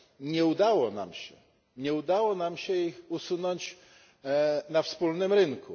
Nie udało nam się, nie udało nam się ich usunąć na wspólnym rynku.